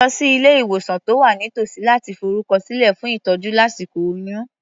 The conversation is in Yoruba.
Lọ sí ilé-ìwòsàn tó wà nítòsí láti forúkọsílẹ̀ fún ìtọ́jú lásíkò oyún.